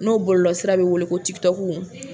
N'o bɔlɔlɔsira bɛ wele ko